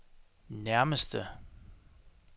nærmeste